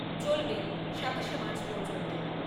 চলবে সাতাশে মার্চ পর্যন্ত।